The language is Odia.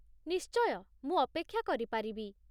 ନିଶ୍ଚୟ। ମୁଁ ଅପେକ୍ଷା କରିପାରିବି।